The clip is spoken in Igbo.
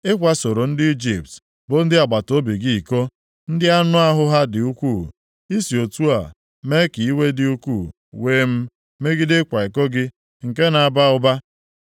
Ị kwasoro ndị Ijipt bụ ndị agbataobi gị iko, ndị anụahụ ha dị ukwuu. I si otu a mee ka iwe dị ukwuu wee m megide ịkwa iko gị nke na-aba ụba.